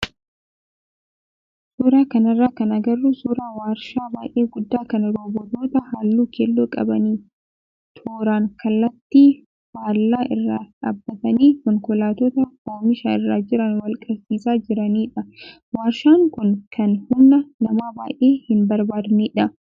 Suuraa kanarraa kan agarru suuraa waarshaa baay'ee guddaa kan roobootota halluu keelloo qabanii tooraan kallattii faallaa irra dhaabbatanii konkolaattota oomisha irra jiran wal qabsiisaa jiranidha. Waarshaan kun kan humna namaa baay'ee hin barbaadnedha.